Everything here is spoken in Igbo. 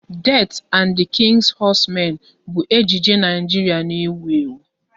"Death and the King's Horseman" bụ ejije Naijiria na-ewu ewu